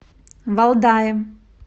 валдае